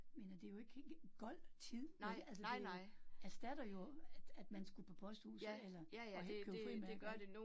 Mener det jo ikke gold tid vel altså, det erstatter jo, at at man skulle på posthuset eller og købe frimærker